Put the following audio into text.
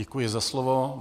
Děkuji za slovo.